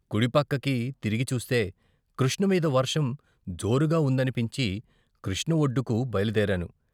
కుడి పక్కకి తిరిగి చూస్తే కృష్ణ మీద వర్షం జోరుగా ఉందనిపించి కృష్ణ ఒడ్డుకు బయల్దేరాను.